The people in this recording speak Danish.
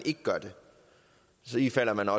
gør det ifalder man